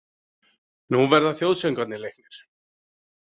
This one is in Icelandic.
Nú verða þjóðsöngvarnir leiknir.